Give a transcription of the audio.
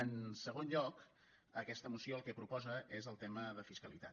en segon lloc aquesta moció el que proposa és el te·ma de fiscalitat